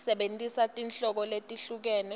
sebentisa tinhlobo letehlukene